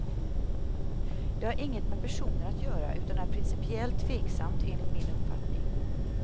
Det har inget med personer att göra utan är principiellt tveksamt enligt min uppfattning.